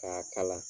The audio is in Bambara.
K'a kala